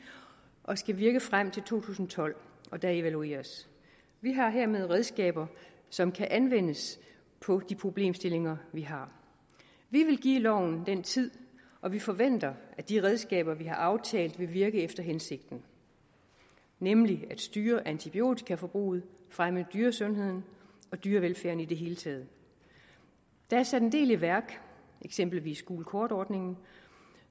og skal virke frem til to tusind og tolv hvor der evalueres vi har hermed redskaber som kan anvendes på de problemstillinger vi har vi vil give loven den tid og vi forventer at de redskaber vi har aftalt vil virke efter hensigten nemlig at styre antibiotikaforbruget fremme dyresundheden og dyrevelfærden i det hele taget der er sat en del i værk eksempelvis gult kort ordningen